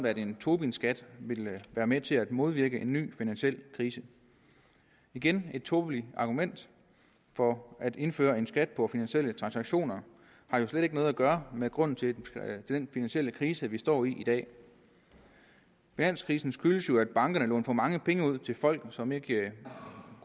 at en tobinskat vil være med til at modvirke en ny finansiel krise igen et tåbeligt argument for at indføre en skat på finansielle transaktioner har jo slet ikke noget at gøre med grunden til den finansielle krise vi står i i dag finanskrisen skyldes jo at bankerne har lånt for mange penge ud til folk som ikke